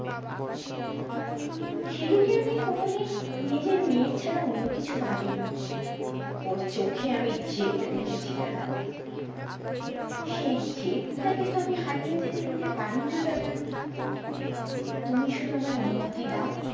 শিলু কে আমি কোন দিন নিজের মেয়ের ছাড়া অন্যকিছু ভাবিনি ওর চোখে আমি যেদ দেখেছি দাদা সেই যেদ টাকে তো আমি হারিয়ে যেতে দিতে পারিনা দাদা তুমি শুধু আমায় অনুমুতি দাও